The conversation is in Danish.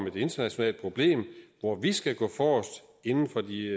et internationalt problem hvor vi skal gå forrest inden for de